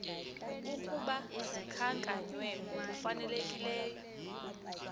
ukuba zikhankanywe ngokufanelekileyo